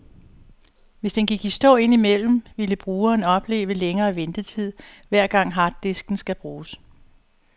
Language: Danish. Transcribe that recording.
Hvis den gik i stå ind imellem, ville brugeren opleve længere ventetid, hver gang harddisken skal bruges.